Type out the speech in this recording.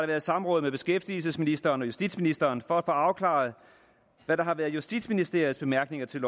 været samråd med beskæftigelsesministeren og justitsministeren for at få afklaret hvad der har været justitsministeriets bemærkninger til